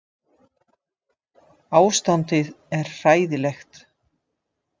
Ástandið er hræðilegt